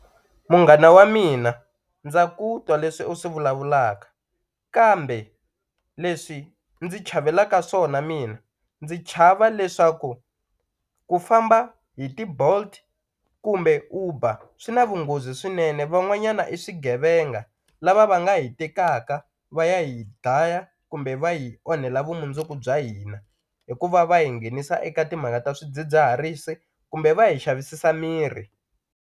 Munghana wa mina ndza ku twa leswi u swi vulavulaka kambe leswi ndzi chavelaka swona mina ndzi chava leswaku ku famba hi ti-Bolt kumbe Uber swi na vunghozi swinene van'wanyana i swigevenga lava va nga hi tekaka va ya hi dlaya kumbe va hi onhela vumundzuku bya hina hikuva va hi nghenisa eka timhaka ta swidzidziharisi kumbe va hi xavisisa miri.